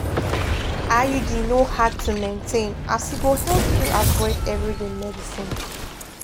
iud no hard to maintain as e go help you avoid everyday medicines.